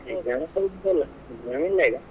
exam ಎಂತಸ ಇಲ್ಲ exam ಇಲ್ಲಾ ಈಗ.